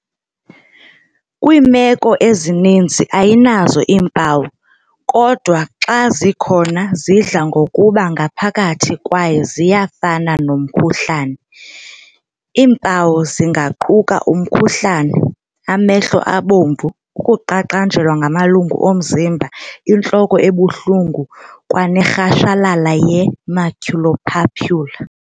Kwiimeko ezininzi ayinazo iimpawu, kodwa xa zikhona zidla ngokuba ngaphakathi kwaye zingafana nomkhuhlane i-dengue. Iimpawu zingaquka umkhuhlane, amehlo abomvu, ukuqaqanjelwa ngamalungu omzimba, intloko ebuhlungu, kwanerhashalala ye-maculopapular.